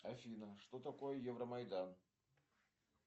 афина что такое евромайдан